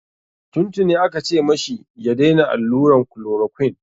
Tun tuni aka ce ma shi ya daina alluran chloroquine.